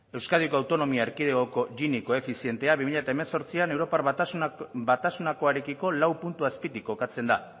euskadiko autonomia erkidegoko gini koefizienteak bi mila hemeretzian europar batasunakoarekiko lau puntu azpitik kokatzen da